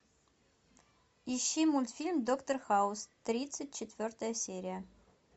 ищи мультфильм доктор хаус тридцать четвертая серия